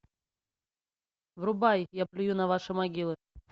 врубай я плюю на ваши могилы